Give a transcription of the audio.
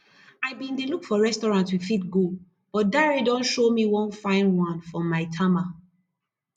i bin dey look for restaurant we fit go but dare don show me one fine one for maitama